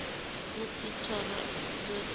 musi thoro dzo ita suko